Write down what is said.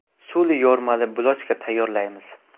Suli yormali bulochka tayyorlaymiz.